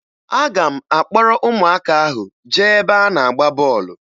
Aga m akpọrọ ụmụaka ahụ jee ebe a na-agba bọọlụ